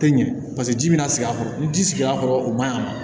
Tɛ ɲɛ paseke ji mana sigi a kɔrɔ ni ji sigir'a kɔrɔ o man ɲi a ma